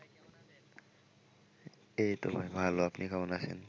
এইতো ভাই ভালো, আপনি কেমন আছেন?